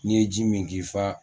N'i ye ji min k'i fa